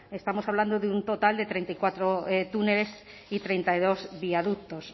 estamos hablando de un total de treinta y cuatro túneles y treinta y dos viaductos